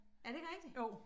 Er det ikke rigtigt?